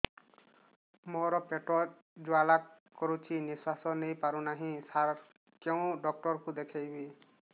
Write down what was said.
ମୋର ପେଟ ଜ୍ୱାଳା କରୁଛି ନିଶ୍ୱାସ ନେଇ ପାରୁନାହିଁ ସାର କେଉଁ ଡକ୍ଟର କୁ ଦେଖାଇବି